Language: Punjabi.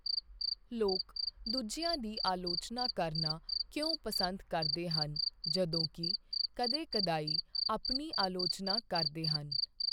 ਲੋਕ ਦੂਜਿਆਂ ਦੀ ਆਲੋਚਨਾ ਕਰਨਾ ਕਿਉਂ ਪਸੰਦ ਕਰਦੇ ਹਨ ਜਦੋਂਕਿ ਕਦੇ ਕਦਾਈਂ ਆਪਣੀ ਆਲੋਚਨਾ ਕਰਦੇ ਹਨ?